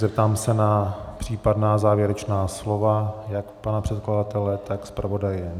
Zeptám se na případná závěrečná slova jak pana předkladatele, tak zpravodaje?